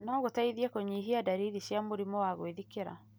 no gũteithie kũnyihia ndariri cia mũrimũ wa gwĩthikĩra.